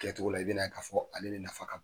Kɛcogo la i bɛna'a k'a fɔ ale de nafa ka bon.